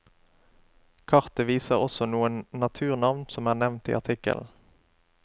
Kartet viser også noen naturnavn som er nevnt i artikkelen.